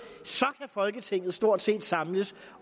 folketinget stort set godt samles